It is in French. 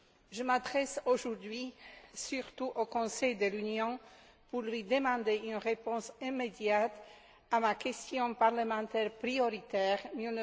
Je m'adresse aujourd'hui surtout au Conseil de l'Union pour lui demander une réponse immédiate à ma question parlementaire prioritaire n°